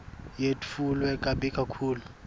yetfulwe kabi kakhulu